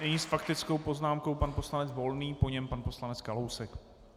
Nyní s faktickou poznámkou pan poslanec Volný, po něm pan poslanec Kalousek.